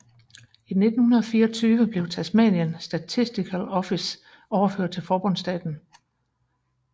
I 1924 blev Tasmanian Statistical Office overført til forbundsstaten